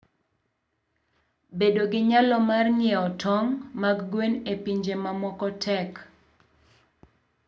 Bedo gi nyalo mar ng'iewo tong' mag gwen e pinje mamoko tek.